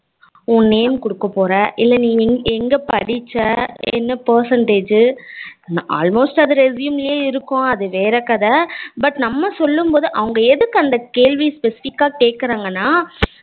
உன் name குடுக்க போற இல்ல நீ எங்க படிச்ச என்ன percentage almost அது resume லே இருக்கும், அது வேற கதை but நம்ம சொல்லும் போது அவங்க எதுக்கு அந்த கேள்வி specific கா கேக்குறங்கானா